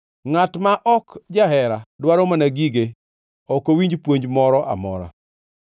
Ngʼat ma ok jahera dwaro mana gige ok owinj puonj moro amora.